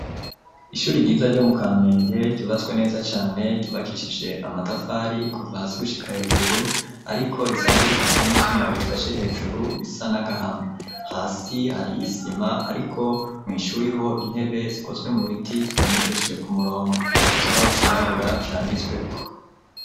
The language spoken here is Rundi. Ishuri ryiza, ryo mu Kamenge, ryubatswe neza cane, ryubakishije amatafari, kuva hasi gushika hejuru; ariko risanzwe rifise n'ivyuma, bifashe hejuru, bisa n'agahama; hasi hari isima, ariko mw'ishuri ho, intebe zikozwe mu biti, zitondekesheje ku murongo; ikibaho cirabura, canditsweko.